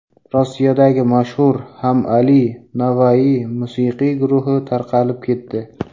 Rossiyadagi mashhur HammAli & Navai musiqiy guruhi tarqalib ketdi.